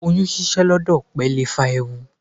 Oyún ṣíṣẹ́ lọ́dọ̀ òpè lè fa ewu.